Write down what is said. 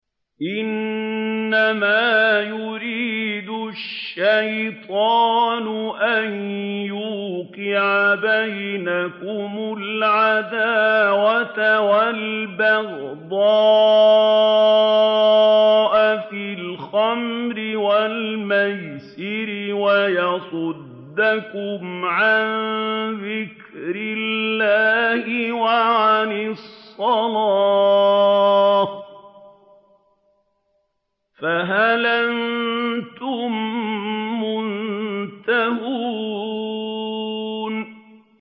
إِنَّمَا يُرِيدُ الشَّيْطَانُ أَن يُوقِعَ بَيْنَكُمُ الْعَدَاوَةَ وَالْبَغْضَاءَ فِي الْخَمْرِ وَالْمَيْسِرِ وَيَصُدَّكُمْ عَن ذِكْرِ اللَّهِ وَعَنِ الصَّلَاةِ ۖ فَهَلْ أَنتُم مُّنتَهُونَ